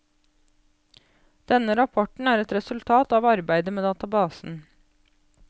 Denne rapporten er et resultat av arbeidet med databasen.